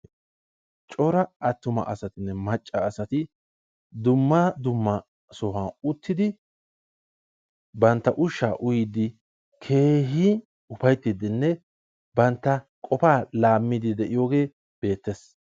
Cora attuma asatinne macca asati dumma dumma sohuwan uttidi bantta ushsha uyyide keehippe upayttinne bantta qopa laammide de'iyooge beettees.